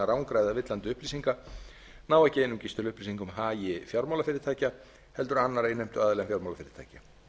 rangra eða villandi upplýsinga nái ekki einungis til upplýsinga um hagi fjármálafyrirtækja heldur annarra innheimtuaðila en fjármálafyrirtækja